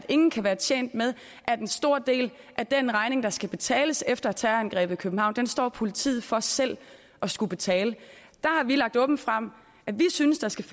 ingen kan være tjent med at en stor del af den regning der skal betales efter terrorangrebet i københavn står politiet for selv at skulle betale der har vi lagt åbent frem at vi synes der skal